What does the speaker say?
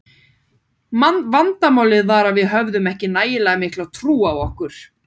Vandamálið var að við höfðum ekki nægilega mikla trú á okkur.